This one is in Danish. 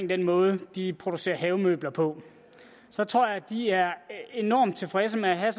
den måde de producerer havemøbler på så tror jeg de er enormt tilfredse med at have